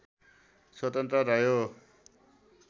स्वतन्त्र रह्यो